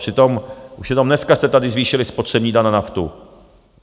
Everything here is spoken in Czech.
Přitom už jenom dneska jste tady zvýšili spotřební daň na naftu.